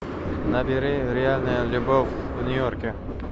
набери реальная любовь в нью йорке